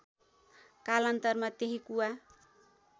कालान्तारमा त्यही कुवा